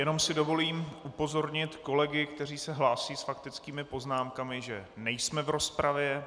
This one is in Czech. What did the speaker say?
Jenom si dovolím upozornit kolegy, kteří se hlásí s faktickými poznámkami, že nejsme v rozpravě.